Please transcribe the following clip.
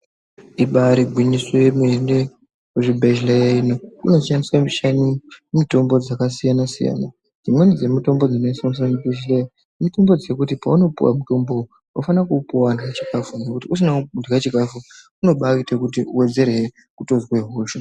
Ibaari gwinyiso yemene kuzvibhedhleya ino kunoshandiswa mutombo dzakasiyana-siyana. Dzimweni dzemitombo dzinoshandiswa muzvibhehleya, mitombo dzekuti paunopuwa mutombo uwu, unofane kuupuwa warya chikafu, ngokuti usina kurya chikafu unobaaite kuti uwedzerehe kutozwe hosha.